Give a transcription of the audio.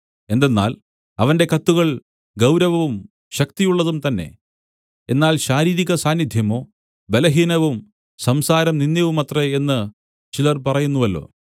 എന്തെന്നാൽ അവന്റെ കത്തുകൾ ഗൗരവവും ശക്തിയുള്ളതും തന്നെ എന്നാൽ ശാരീരികസാന്നിദ്ധ്യമോ ബലഹീനവും സംസാരം നിന്ദ്യവുമത്രെ എന്നു ചിലർ പറയുന്നുവല്ലോ